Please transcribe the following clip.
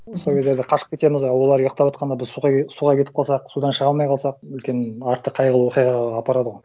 сол кездерде қашып кетеміз а олар ұйықтаватқанда біз суға суға кетіп қалсақ судан шыға алмай қалсақ үлкен арты қайғылы оқиғаға апарады ғой